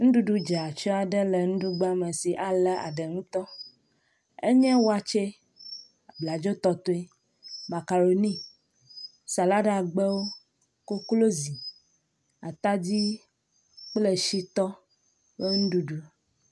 Nuɖuɖu dze atsyɔ aɖe le nuɖugba me si alé aɖe ŋutɔ. Enye wakye, bladzotɔtoe, makaroni, saladagbewo, koklozi, atadi kple shitɔ ƒe nuɖuɖu.